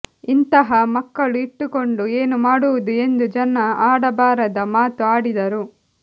ಇಂತಹ ಮಕ್ಕಳು ಇಟ್ಟುಕೊಂಡು ಏನು ಮಾಡುವುದು ಎಂದು ಜನ ಆಡಬಾರದ ಮಾತು ಆಡಿದರು